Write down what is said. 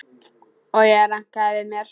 Og ég rankaði við mér.